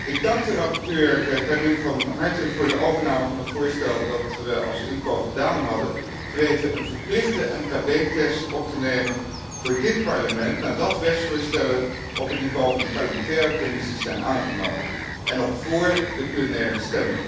Ik dank rapporteur Karim van harte voor de overname van het voorstel dat we vanuit IMCO gedaan hadden, te weten een verplichte MKB test op te nemen voor dit Parlement, nadat wetsvoorstellen op het niveau van de parlementaire commissies zijn aangenomen, en nog vóór de plenaire stemming.